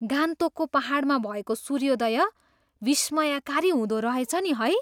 गान्तोकको पाहाडमा भएको सूर्योदय विस्मयकारी हुँदोरहेछ नि है।